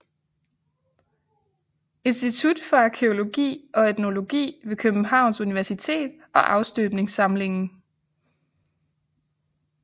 Institut for Arkæologi og Etnologi ved Københavns Universitet og Afstøbningssamlingen